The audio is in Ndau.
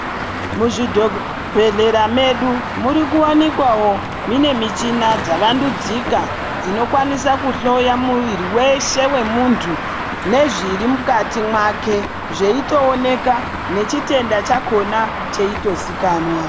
Muzvidho bhedhlera medu muri kuwanikwawo mine michina dzavandudzika, dzinokwanisa kuhloya muviri weshe wemuntu, nezviri mukati mwake zveitooneka, nechitenda chakhona cheitozikanwa.